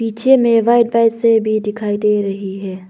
पीछे में भी दिखाई दे रही है।